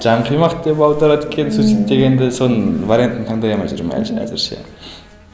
жан қимақ деп аударады екен суицид дегенді соның вариантын таңдай алмай жүрмін әзірше